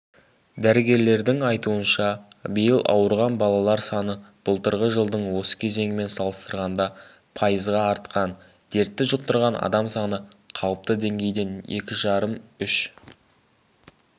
дәрігерлердің айтуынша биыл ауырған балалар саны былтырғы жылдың осы кезеңімен салыстырғанда пайызға артқан дертті жұқтырған адам саны қалыпты деңгейден екі жарым-үш